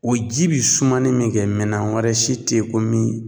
O ji bi sumani min kɛ minɛn wɛrɛ si te ye ko min